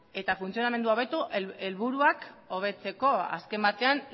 eta funtzionamendua hobetu helburuak hobetzeko azken batean